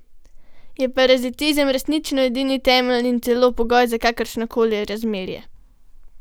Je parazitizem resnično edini temelj in celo pogoj za kakršnokoli razmerje?